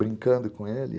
Brincando com ele.